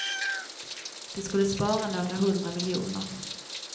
De skulle spara några hundra miljoner.